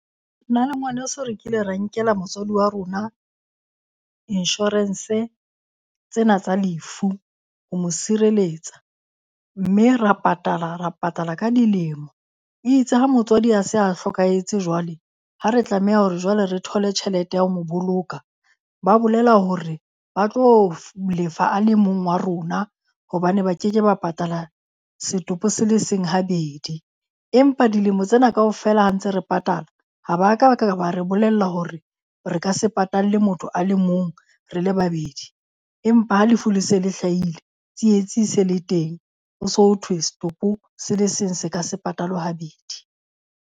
Nna le ngwaneso re kile ra nkela motswadi wa rona insurance tsena tsa lefu ho mo sireletsa. Mme ra patala ra patala ka dilemo. E itse ha motswadi a se a hlokahetse jwale ha re tlameha hore jwale re thole tjhelete ya ho mo boloka, ba bolela hore ba tlo lefa a le mong wa rona hobane ba ke ke ba patala setopo se le seng habedi. Empa dilemo tsena kaofela ha ntse re patala, ha ba ka ba ka ba re bolella hore re ka se patalle motho a le mong re le babedi. Empa ha lefu le se le hlahile, tsietsi e se le teng, ho so thwe setopo se le seng se ka se patalwe habedi.